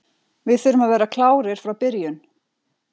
Við þurfum að vera klárir frá byrjun.